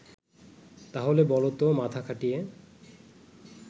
তাহলে বলতো মাথা খাটিয়ে